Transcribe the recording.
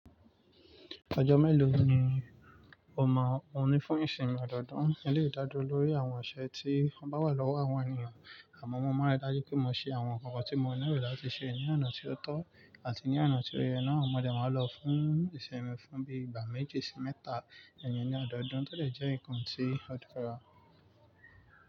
Ọjọ́ mélòó ni o mọ̀ ọ́n fún ìsinmi ọdọọdún? Eléyìí dádúró lórí àwọn ọ̀ṣẹ ti wọn bá wà lọ́wọ́ àwọn ènìyàn, àmọ́ wọ́n máa rí dájú pé mo ṣe àwọn nǹkan tí mo nílò láti ṣe ní àná tí ó tó àti ní àná tí ó yẹ náà. Àmọ́ mo dẹ̀ máa lọ fún ìsinmi fún bí i gbà méjì sí mẹ́ta èyí ní ọdọọdún, tó dẹ̀ jẹ́ ǹkan tí ó dára.